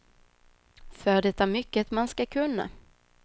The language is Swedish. För det är mycket man ska kunna.